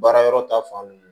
Baara yɔrɔ ta fan